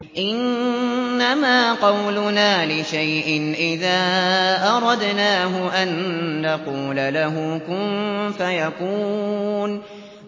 إِنَّمَا قَوْلُنَا لِشَيْءٍ إِذَا أَرَدْنَاهُ أَن نَّقُولَ لَهُ كُن فَيَكُونُ